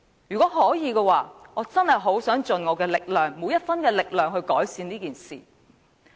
如果可以，我很想盡我每分力量去改善安老問題。